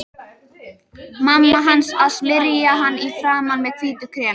Mamma hans að smyrja hana í framan með hvítu kremi.